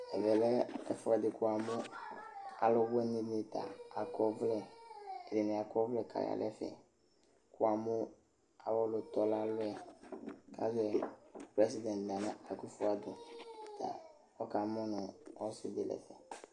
Ɛmɛlɛ ɛfʋɛdi kʋ wamʋ alʋwini ni ta akɔ, ɛdini akɔ ɔvlɛ kʋ aya nʋ ɛfɛ, wamʋ awʋ ɔlʋtɔ nʋ alɔ yɛ kʋ ayɔnʋ prɛsident Nana akʋfɔ ado ta ɔkamʋnʋ ɔsɩdini